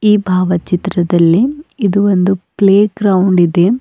ಈ ಭಾವಚಿತ್ರದಲ್ಲಿ ಇದು ಒಂದು ಪ್ಲೇ ಗ್ರೌಂಡ್ ಇದೆ.